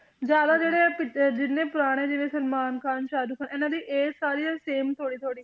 ਜ਼ਿਆਦਾ ਜਿਹੜੇ ਜਿੰਨੇ ਪੁਰਾਣੇ ਜਿਵੇਂ ਸਲਮਾਨ ਖ਼ਾਨ ਸਾਹੁਰਖ ਇਹਨਾਂ ਦੀ age ਸਾਰਿਆਂ ਦੀ same ਥੋੜ੍ਹੀ ਥੋੜ੍ਹੀ